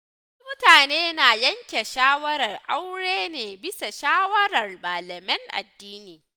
Wasu mutane na yanke shawarar aure ne bisa shawarar malamin addini.